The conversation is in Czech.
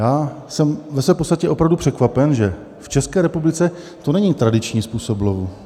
Já jsem ve své podstatě opravdu překvapen, že v České republice to není tradiční způsob lovu.